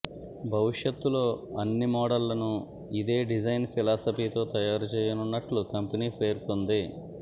భవిష్యత్తులో అన్ని మోడళ్లను ఇదే డిజైన్ ఫిలాసఫీతో తయారు చేయనున్నట్లు కంపెనీ పేర్కోంది